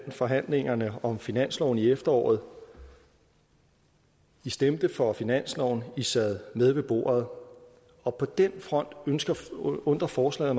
forhandlingerne om finansloven i efteråret i stemte for finansloven i sad med ved bordet og på den front undrer forslaget